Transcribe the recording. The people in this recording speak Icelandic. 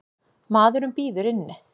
Maðurinn bíður inni.